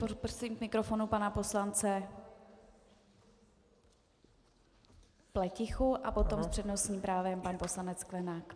Poprosím k mikrofonu pana poslance Pletichu a potom s přednostním právem pan poslanec Sklenák.